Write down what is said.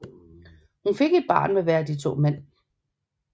Hun fik et barn med hver af de to mænd